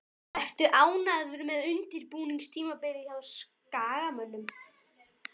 Ertu ánægður með undirbúningstímabilið hjá Skagamönnum?